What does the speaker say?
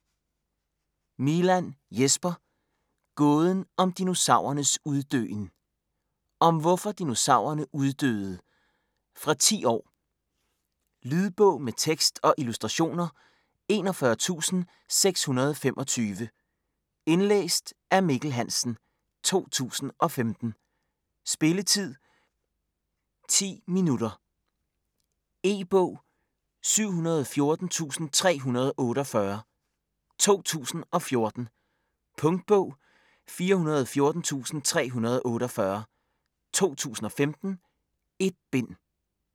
Milàn, Jesper: Gåden om dinosaurernes uddøen Om hvorfor dinosaurerne uddøde. Fra 10 år. Lydbog med tekst og illustrationer 41625 Indlæst af Mikkel Hansen, 2015. Spilletid: 0 timer, 10 minutter. E-bog 714348 2014. Punktbog 414348 2015. 1 bind.